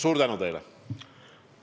Suur tänu teile!